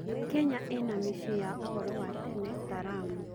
Kenya ĩna mĩciĩ ya ũhoro wa tene ta Lamu.